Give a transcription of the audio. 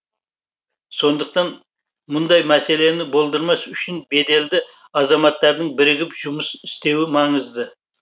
сондықтан мұндай мәселені болдырмас үшін беделді азаматтардың бірігіп жұмыс істеуі маңызды